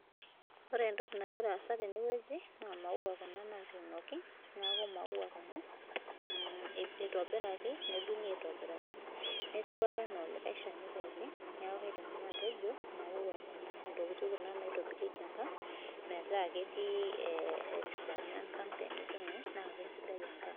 Ore entoki nagira aasa tenewueji, naa maua kuna natuunoki, neeku maua kuna. Itobiraki nedung'i aitobiraki. Netiu ake enaa olikae shani pookin, neeku kaidim nanu atejo imaua kuna, intokiting kuna naitobirieki enkang metaa ketii esidano enkang tenijing'u na kesidai enkang.